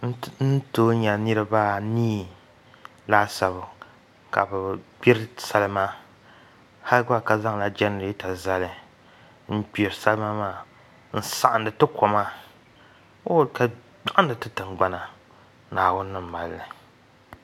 N tooi nyɛ niraba anii laasabu ka bi gbiri salima hal gba ka zaŋla jɛnirɛta zali n gbiri salima maa n saɣandi ti koma ooi ka saɣandi ti tingbana naawuni ni malli